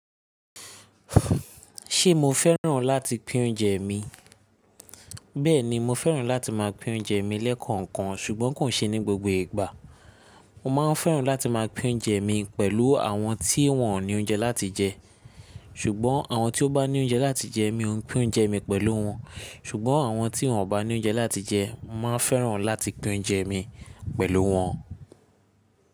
Ṣé mo fẹ́ràn láti pín oúnjẹ mi? Bẹ́ẹ̀ni, mo fẹ́ràn láti máa pín oúnjẹ mi lẹ́ẹ̀kọ̀ọ̀kan ṣùgbọ́n kò ṣe ní gbogbo ìgbà. Mo máa ń fẹ́ràn láti máa pín oúnjẹ mi pẹ̀lú àwọn tí wọ́n ò ní oúnjẹ láti jẹ ṣùgbọ́n àwọn tí ó bá ní oúnjẹ láti jẹ mi ò pín oúnjẹ mi pẹ̀lú wọn ṣùgbọ́n àwọn tí wọ́n ò bá ní oúnjẹ láti jẹ, màá fẹ́ràn láti pín oúnjẹ mi pẹ̀lú wọn.